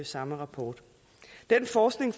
samme rapport den forskning